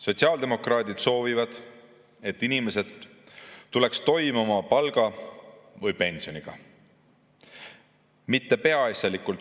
Sotsiaaldemokraadid soovivad, et inimesed tuleks toime oma palga või pensioniga.